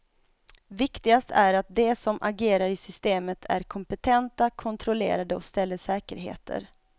Viktigast är att de som agerar i systemet är kompetenta, kontrollerade och ställer säkerheter.